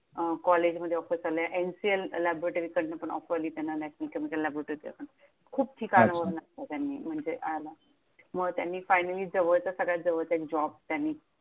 अं college मध्ये offers आल्या, NCLLABORATORY कडन पण offer आली त्यांना, National Chemical LABORATORY लॅबोरेटरीच्या पण खूप अच्छा ठिकाणावरनं त्यांनी म्हणजे आल्या. मग त्यांनी finally जवळचा सगळ्यात जवळचा एक job त्यांनी